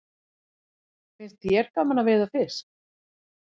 Finnst þér gaman að veiða fisk?